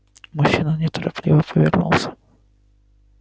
мужчина неторопливо повернулся